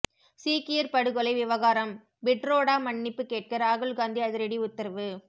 சீக்கியர் படுகொலை விவகாரம் பிட்ரோடா மன்னிப்பு கேட்க ராகுல்காந்தி அதிரடி உத்தரவு